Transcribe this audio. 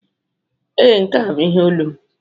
Ee, nke a bụ ihe olu m.